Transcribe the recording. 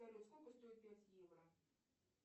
сколько стоит пять евро